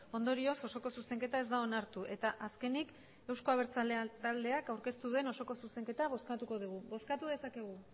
ondorioz osoko zuzenketa ez da onartu eta azkenik euzko abertzaleak taldeak aurkeztu duen osoko zuzenketa bozkatuko dugu bozkatu dezakegu